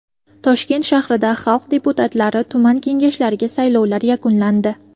Toshkent shahrida xalq deputatlari tuman kengashlariga saylovlar yakunlandi.